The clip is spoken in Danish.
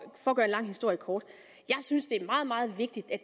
at gøre en lang historie kort jeg synes det er meget meget vigtigt at